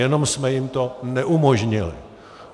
Jenom jsme jim to neumožnili.